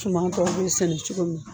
Cuman tɔ bɛ sɛnɛ cogo min na